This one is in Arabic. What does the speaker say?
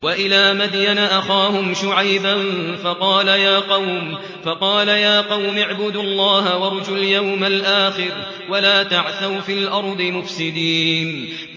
وَإِلَىٰ مَدْيَنَ أَخَاهُمْ شُعَيْبًا فَقَالَ يَا قَوْمِ اعْبُدُوا اللَّهَ وَارْجُوا الْيَوْمَ الْآخِرَ وَلَا تَعْثَوْا فِي الْأَرْضِ مُفْسِدِينَ